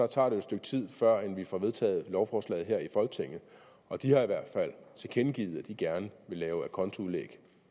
tager et stykke tid førend vi får vedtaget et lovforslag her i folketinget og de har i hvert fald tilkendegivet at de gerne vil lave acontoudlæg